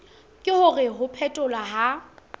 ke hore ho phetholwa ha